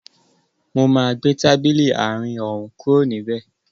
Mo máa gbé tábìlì àárín òún kúrò níbẹ̀